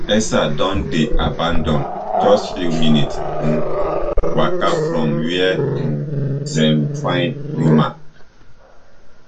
elsa don dey abanAcceptedd just few minutes um waka from wia um dem find roman